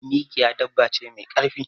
Mikiya dabba ce me karfi.